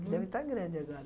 Deve estar grande agora.